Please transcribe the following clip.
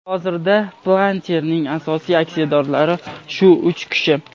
Hozirda Palantir’ning asosiy aksiyadorlari shu uch kishi.